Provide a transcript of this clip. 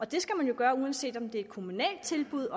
det skal man jo gøre uanset om det er et kommunalt tilbud